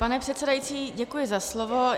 Pane předsedající, děkuji za slovo.